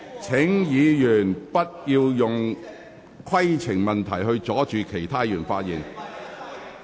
請議員不要再藉提出規程問題，阻礙其他議員發言。